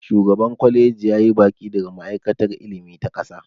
shugaban kwaliji ya yi baƙi daga ma'aikatar ilimi ta ƙasa